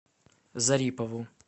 зарипову